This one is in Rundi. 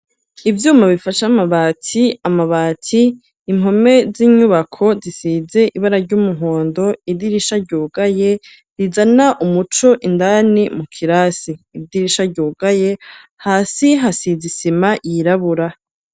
Ivyuma bifashe amabati, amabati impome z'inyubako zisize ibara ry'umuhondo idirisha ryugaye rizana umuco indani mu kirasi, idirisha ryugaye hasi hasize isima yirabura.